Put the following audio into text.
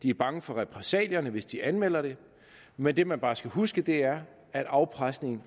er bange for repressalierne hvis de anmelder det men det man bare skal huske er at afpresningen